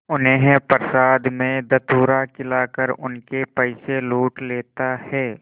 उन्हें प्रसाद में धतूरा खिलाकर उनके पैसे लूट लेता है